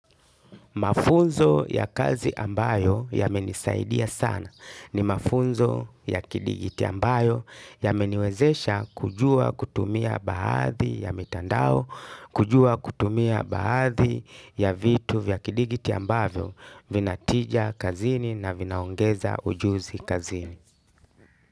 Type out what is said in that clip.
Mafunzo ya kazi ambayo yamenisaidia sana ni mafunzo ya kidigitali ambayo yameniwezesha kujua kutumia baadhi ya mitandao, kujua kutumia baadhi ya vitu vya kidigitali ambayo, vinatija kazini na vinaongeza ujuzi kazini.